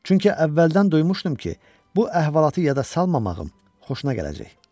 Çünki əvvəldən duymuşdum ki, bu əhvalatı yada salmamağım xoşuna gələcək.